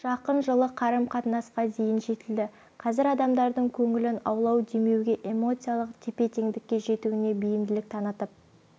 жақын жылы қарым-қатынасқа дейін жетілді қазір адамдардың көңілін аулау демеуге эмоциялық тепе-теңдікке жетуіне бейімділік танытып